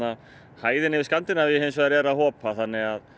hæðin í Skandinavíu hins vegar er að hopa þannig að